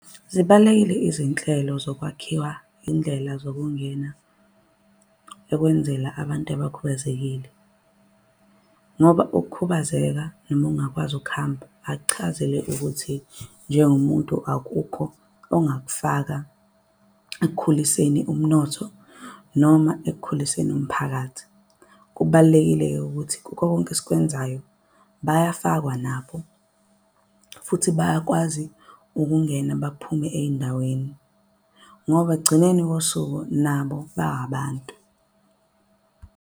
Zibalulekile izinhlelo zokwakhiwa indlela zokungena ekwenzela abantu abakhubazekile. Ngoba ukukhubazeka noma ungakwazi ukuhamba akuchazile ukuthi njengomuntu. Akukho ongakufaka ekukhuliseni umnotho noma ekukhuliseni umphakathi. Kubalulekile-ke ukuthi kukho konke esikwenzayo, bayafakwa nabo futhi bayakwazi ukungena baphume ey'ndaweni. Ngoba ekugcineni kosuku nabo ba abantu.